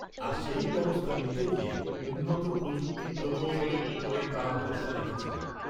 আর সেই ব্যবস্থা নিতে গিয়ে উন্নত প্রযুক্তি প্রকৌশলের ওপরেই তাঁরা ভরসা রেখেছিলেন